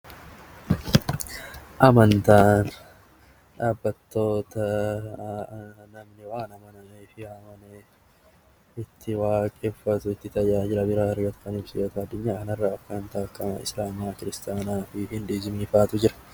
Amantaan dhaabbattota namni waan amanee fi amane itti waaqeffatu fi tajaajila biraa argatu yoo ta'u Addunyaa kana irra kan akka Islaamaa, Kiristiyaanaa fi Hiduuzimii fa'atu jira.